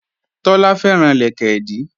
Tọ́lá fẹ́ràn lẹ̀kẹ̀dí